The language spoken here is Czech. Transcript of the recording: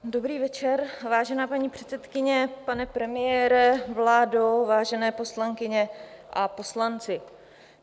Dobrý večer, vážená paní předsedkyně, pane premiére, vládo, vážené poslankyně a poslanci.